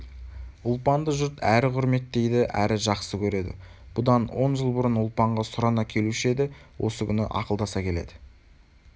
ұлпанды жұрт әрі құрметтейді әрі жақсы көреді бұдан он жыл бұрын ұлпанға сұрана келуші еді осы күні ақылдаса келеді